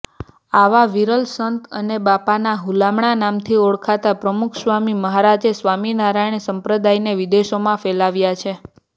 આવા વિરલ સંત અને બાપાના હુલામણા નામથી ઓળખાતા પ્રમુખસ્વામી મહારાજે સ્વામીનારાયણ સંપ્રદાયને વિદેશોમાં ફેલાવ્યા છે